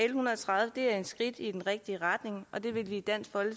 en hundrede og tredive er et skridt i den rigtige retning og det vil vi i dansk